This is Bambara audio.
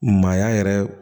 Maaya yɛrɛ